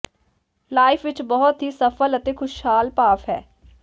life ਇੱਕ ਬਹੁਤ ਹੀ ਸਫਲ ਅਤੇ ਖੁਸ਼ਹਾਲ ਭਾਫ਼ ਹੈ